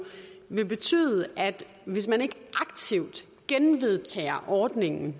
vil betyde at hvis man ikke aktivt genvedtager ordningen